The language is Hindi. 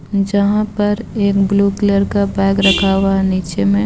जहाँ पर एक ब्लु कलर का बेग रखा हुआ है निचे में.